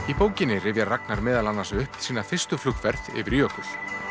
í bókinni rifjar Ragnar meðal annars upp sína fyrstu flugferð yfir jökul